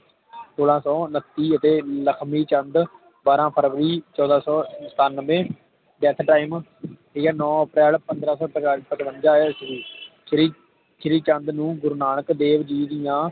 ਸੋਲਹ ਸੌ ਉਨਤੀ ਅਤੇ ਲਖਮੀ ਚੰਦ ਬਾਰਹ ਫਰਬਰੀ ਚੌਦਹ ਸੌ ਸੰਤਾਨੰਵੇ ਜਿਸ Time ਦੀ ਨੌ ਅਪ੍ਰੈਲ ਪੰਦ੍ਰਹ ਸੌ ਤ੍ਰੇ ਤਰੇਵੰਜਾ ਈਸਵੀ ਸ਼੍ਰੀ ਸ਼੍ਰੀ ਚੰਦ ਨੂੰ ਗੁਰੂ ਨਾਨਕ ਦੇਵ ਜੀ ਦੀਆ